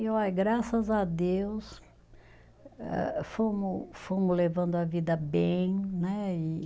E, olha, graças a Deus, eh fomos fomos levando a vida bem, né? E